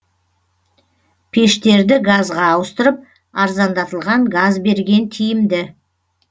пештерді газға ауыстырып арзандатылған газ берген тиімді